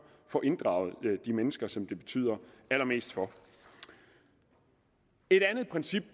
får inddraget de mennesker som det betyder allermest for et andet princip